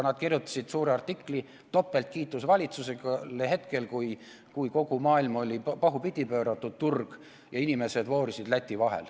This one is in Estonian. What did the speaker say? Nad kirjutasid pika artikli: topeltkiitus valitsusele hetkel, kui kogu turg oli pahupidi pööratud ja inimesed voorisid Läti vahet.